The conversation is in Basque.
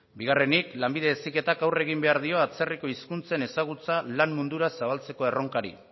bigarrenik lanbide heziketak aurre egin behar dio atzerriko hizkuntzen ezagutza lan mundura zabaltzeko erronkari